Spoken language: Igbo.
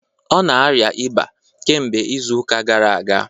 Ọ na-arịa ịba kemgbe izu ụka gara aga